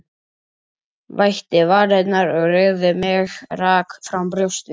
Vætti varirnar og reigði mig, rak fram brjóstin.